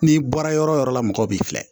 N'i bɔra yɔrɔ o yɔrɔ la mɔgɔ b'i filɛ